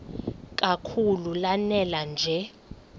kakhulu lanela nje